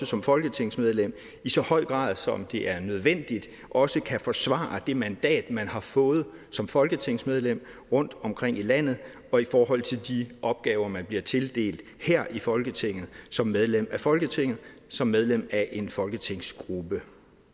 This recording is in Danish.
som folketingsmedlem i så høj grad som det er nødvendigt også kan forsvare det mandat man har fået som folketingsmedlem rundtomkring i landet og i forhold til de opgaver man bliver tildelt her i folketinget som medlem af folketinget som medlem af en folketingsgruppe